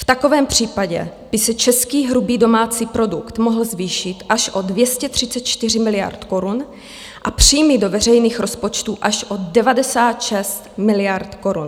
V takovém případě by se český hrubý domácí produkt mohl zvýšit až o 234 miliard korun a příjmy do veřejných rozpočtů až o 96 miliard korun.